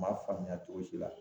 M'a faamuya cogo si la